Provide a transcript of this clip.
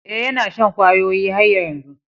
Eh, yana shan kwayoyi har yanzu.